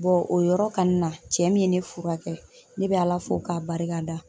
o yɔrɔ kanni na, cɛ min ye ne furakɛ ne be Ala fo ka barika da.